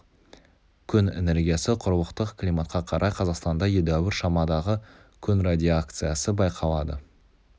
күн энергиясы құрлықтық климатқа қарай қазақстанда едәуір шамадағы күн радиакциясы байқалады